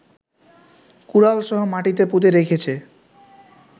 কুড়াল সহ মাটিতে পুঁতে রেখেছে